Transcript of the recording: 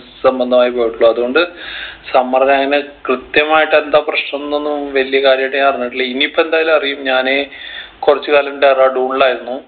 സംബന്ധമായി പോയിട്ടുള്ളൂ അത്കൊണ്ട് summer ൽ അങ്ങനെ കൃത്യമായിട്ട് എന്താ പ്രശ്‌നംന്നൊന്നും വല്യ കാര്യായിട്ട് ഞാൻ അറിഞ്ഞിട്ടില്ല ഇനി ഇപ്പൊ എന്തായാലും അറിയും ഞാന് കുറച്ച് കാലം ഡെറാഡൂണിലായിരുന്നു